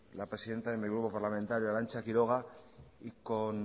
la presidenta de mi grupo parlamentario arantza quiroga